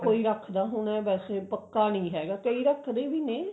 ਕੋਈ ਰੱਖਦਾ ਹੁਣ ਵੇਸੇ ਪੱਕਾ ਨਹੀ ਹੈ ਕਈ ਰੱਖਦੇ ਵੀ ਨੇ